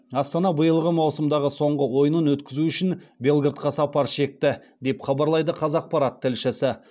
астана биылғы маусымдағы соңғы ойынын өткізу үшін белградқа сапар шекті деп хабарлайды қазақпарат тілшісі